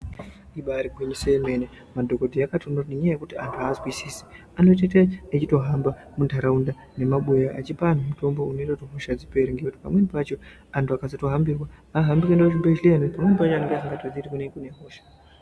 Ibari gwinyiso remene madhokodheya akotoona kuti anhu azwisisi anotoite echitohamba munharaunda nemumabuya achipa anhu mutombo unoita kuti hosha dzipere ngekuti pamweni pacho anhu akasatohambirwa hahambi kuenda kuzvibhehleya pamweni pacho anonga asingatozii kuti kune hosha.